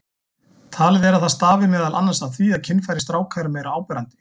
Talið er að það stafi meðal annars af því að kynfæri stráka eru meira áberandi.